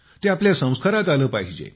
ते आपल्या संस्कारात आले पाहिजे